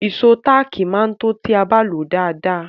Ìṣó táàkì máa tó ti a bá lòó dáadáa.